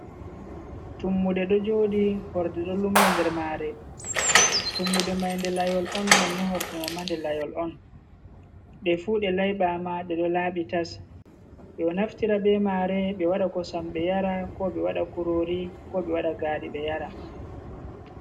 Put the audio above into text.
Tummude ɗo jooɗi, horde ɗo lummbi nder maare, tummude may nde layol on, nonno horde may ma nde layol on. Ɗe fu ɗe layɓaama nde ɗo laaɓi tas. Ɓe ɗo naftira be maare ɓe waɗa kosam ɓe yara, ko ɓe waɗa kuroori, ko ɓe waɗa gaari ɓe yara.